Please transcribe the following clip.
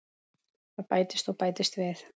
Það bætist og bætist við.